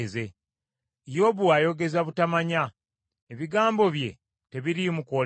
‘Yobu ayogeza butamanya ebigambo bye tebiriimu kwolesebwa.’